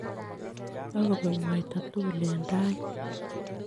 Kakobek mwaita tugul eng tait.